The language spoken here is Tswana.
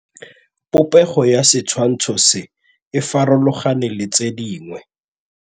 Popêgo ya setshwantshô se, e farologane le tse dingwe.